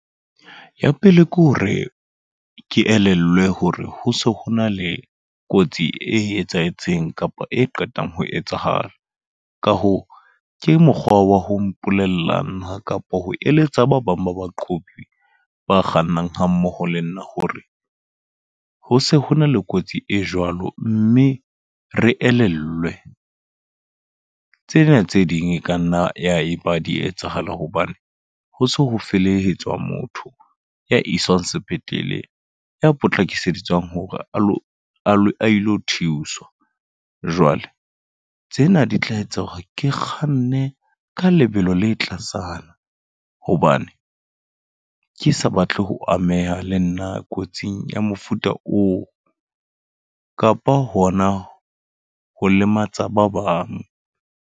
Ya pele ke hore, ke elellwe hore ho se ho na le kotsi e etsahetseng kapa e qetang ho etsahala. Ka hoo, ke mokgwa wa ho mpolella nna kapa ho eletsa ba bang ba baqhobi ba kgannang ha mmoho le nna hore, ho se hona le kotsi e jwalo mme re elellwe. Tsena tse ding e ka nna ya eba di etsahala hobane, ho se ho felehetswe motho ya iswang sepetlele ya potlakisetswa hore a lo a ilo thuswa. Jwale tsena di tla etsa hore ke kganne ka le lebelo le tlasana, hobane ke sa batle ho ameha le nna kotsing ya mofuta oo. Kapa hona ho lematsa ba bang.